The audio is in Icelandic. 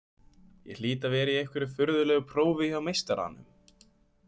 Ég hlýt að vera í einhverju furðulegu prófi hjá meistaranum.